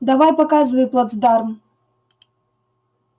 давай показывай плацдарм